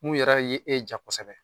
Mun yɛrɛ ye e ja kɔsɔbɛ.